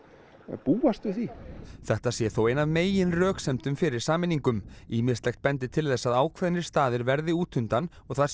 búast við því þetta sé þó ein af meginröksemdum fyrir sameiningum ýmislegt bendi til þess að ákveðnir staðir verði út undan og það sé